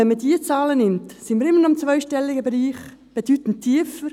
Wenn man diese Zahlen nimmt, sind wir immer noch im zweistelligen Bereich, bedeutend tiefer.